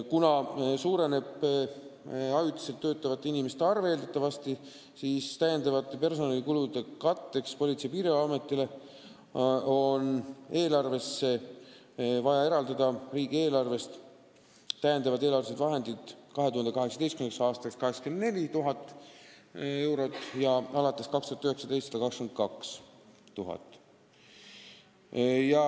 Kuna eeldatavasti suureneb ajutiselt töötavate inimeste arv, siis on täiendavate personalikulude katteks vaja Politsei- ja Piirivalveametile eraldada riigieelarvest eelarvelisi lisavahendeid 2018. aastaks 84 000 eurot ja alates 2019. aastast 122 000 eurot.